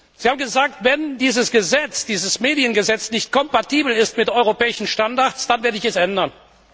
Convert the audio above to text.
Sie haben gesagt Wenn dieses Mediengesetz nicht kompatibel ist mit europäischen Standards, dann werde ich es ändern.